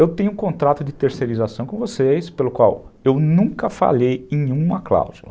Eu tenho um contrato de terceirização com vocês, pelo qual eu nunca falhei em uma cláusula.